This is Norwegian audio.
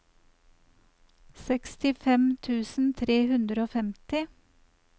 sekstifem tusen tre hundre og femti